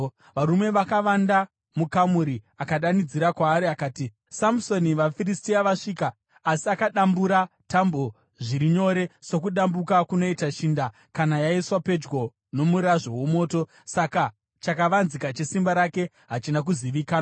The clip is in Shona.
Varume vakavanda mukamuri, akadanidzira kwaari akati, “Samusoni, vaFiristia vasvika!” Asi akadambura tambo zviri nyore sokudambuka kunoita shinda kana yaiswa pedyo nomurazvo womoto. Saka chakavanzika chesimba rake hachina kuzivikanwa.